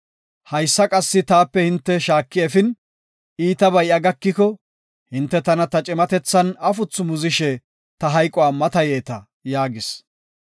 Haysa qassi taape hinte shaaki efin, iitabay iya gakiko, hinte tana ta cimatethan afuthu muzishe ta hayquwa matayeta’ ” yaagis.